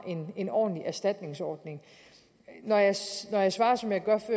en ordentlig erstatningsordning når jeg svarede svarede som jeg gjorde